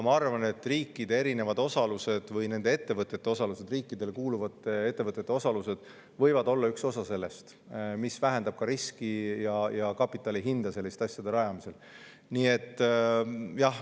Ma arvan, et riikide osalus või riikidele kuuluvate ettevõtete osalus võib olla üks osa sellest, mis vähendab riski ja kapitali hinda selliste asjade rajamisel.